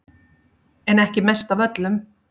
En ekki mest af öllum